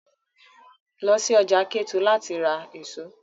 Lọ sí ọjà Kétu láti lọ ra èso!